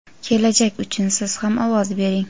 Kelajak uchun Siz ham ovoz bering!.